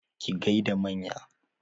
Ki gaida manya!